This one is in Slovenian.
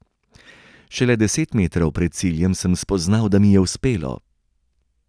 Šele deset metrov pred ciljem sem spoznal, da mi je uspelo.